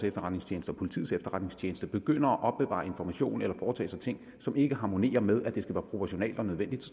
efterretningstjeneste og politiets efterretningstjeneste begynder at opbevare informationer eller foretage sig ting som ikke harmonerer med at det skal være proportionalt og nødvendigt